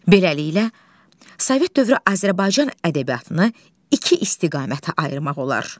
Beləliklə, Sovet dövrü Azərbaycan ədəbiyyatını iki istiqamətə ayırmaq olar.